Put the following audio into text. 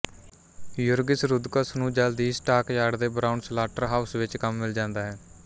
ਯੂਰਗਿਸ Rudkus ਨੂੰ ਜਲਦੀ ਹੀ ਸਟਾਕਯਾਰਡ ਦੇ ਬ੍ਰਾਊਨ ਸਲਾਟਰਹਾਊਸ ਵਿੱਚ ਕੰਮ ਮਿਲ ਜਾਂਦਾ ਹੈ